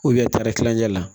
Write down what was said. tari kilancɛ la